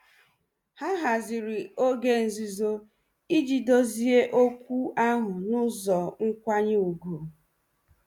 Ha haziri oge nzuzo iji dozie okwu ahụ n'ụzọ nkwanye ùgwù.